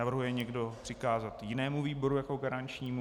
Navrhuje někdo přikázat jinému výboru jako garančnímu?